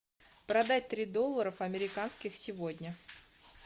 продать три долларов американских сегодня